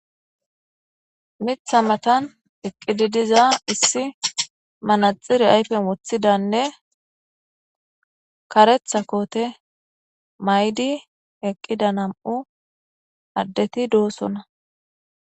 Mitha matan eqqidi diza issi manaxire ayfen wothidanne karetha koote maydi eqqida nam7u addeti doossona